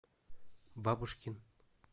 бабушкин